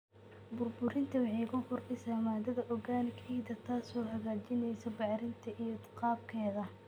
Burburinta waxay ku kordhisaa maadada organic ciidda, taasoo hagaajinaysa bacrinteeda iyo qaabkeeda.